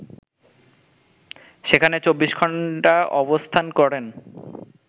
সেখানে ২৪ ঘন্টা অবস্থান করেন